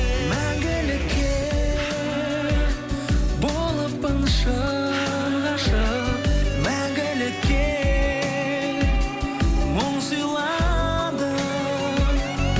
мәңгілікке болыппын шын ғашық мәңгілікке мұң сыйладың